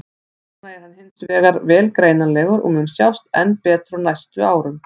Núna er hann hins vegar vel greinilegur og mun sjást enn betur á næstu árum.